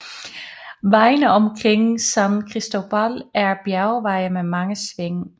Vejene omkring San Christóbal er bjergveje med mange sving